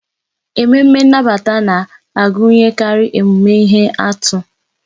Ememme nnabata na-agụnyekarị emume ihe atụ.